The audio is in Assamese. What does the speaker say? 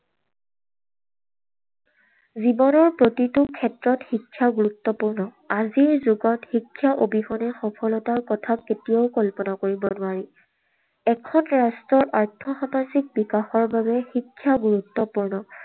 জীৱনৰ প্ৰতিটো ক্ষেত্ৰত শিক্ষা গুৰুত্বপূৰ্ণ। আজিৰ যুগত শিক্ষা অবিহনে সফলতাৰ কথা কেতিয়াও কল্পনা কৰিব নোৱাৰি। এখন ৰাষ্ট্ৰৰ আৰ্থসামাজিক বিকাশৰ বাবে শিক্ষা গুৰুত্বপূৰ্ণ।